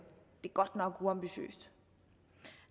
det er godt nok uambitiøst